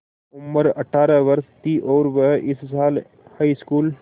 उम्र अठ्ठारह वर्ष थी और वह इस साल हाईस्कूल